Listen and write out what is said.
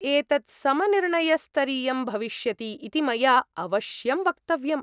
एतत् समनिर्णयस्तरीयं भविष्यति इति मया अवश्यं वक्तव्यम्।